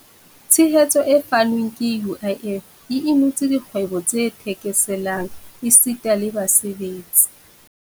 Tshehetso e fanweng ke UIF e inotse dikgwebo tse thekeselang esita le basebetsi.